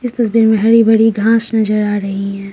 इस तस्वीर में हरी भरी घास नजर आ रही है।